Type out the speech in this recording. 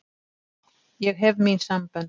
Ég hef mín sambönd.